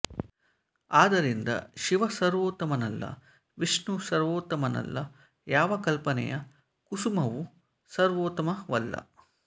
ಆದರಿಂದ ಶಿವ ಸರ್ವೋತ್ತಮನಲ್ಲ ವಿಷ್ಣು ಸರ್ವೋತ್ತಮನಲ್ಲ ಯಾವ ಕಲ್ಪನೆಯ ಕುಸುಮವೂ ಸರ್ವೋತ್ತಮವಲ್ಲ